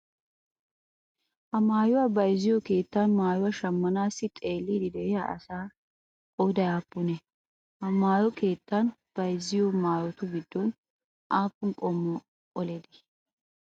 Ha maayuwaa bayzziyoo keettan maayuwaa shammanaassi xeelliiddi de'iyaa asaa qoodayi aappunee? Ha maayo keettan bayzziyoo maayotu giddon aappun qommo qolee de'ii?